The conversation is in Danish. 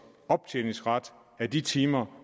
optjeningsret af de timer